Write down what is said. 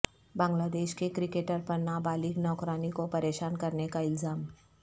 بنگلہ دیش کے کرکٹر پر نابالغ نوکرانی کو پریشان کرنے کا الزام